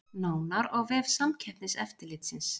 Nánar á vef Samkeppniseftirlitsins